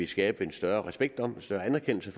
skabe en større respekt om og større anerkendelse